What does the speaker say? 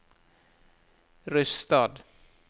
Rysstad